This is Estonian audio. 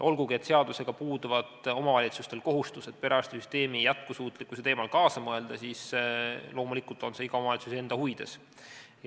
Olgugi et seadusega puuduvad omavalitsustel kohustused perearstisüsteemi jätkusuutlikkuse teemal kaasa mõelda, on see loomulikult iga omavalitsuse enda huvides.